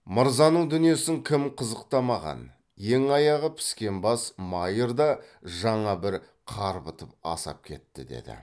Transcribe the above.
мырзаның дүниесін кім қызықтамаған ең аяғы піскен бас майыр да жаңа бір қарбытып асап кетті деді